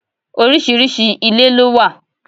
Oríṣiríṣi ilé ló wà.